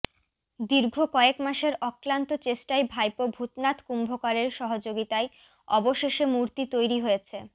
দীর্ঘ কয়েক মাসের অক্লান্ত চেষ্টায় ভাইপো ভূতনাথ কুম্ভকারের সহযোগিতায় অবশেষে মূর্তি তৈরী হয়েছে